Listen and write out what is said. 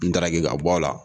N daraki ka bɔ a la